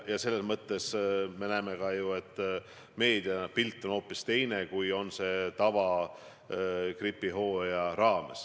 Ja me näeme ju ka, et meediapilt on hoopis teine kui tavalise gripihooajal.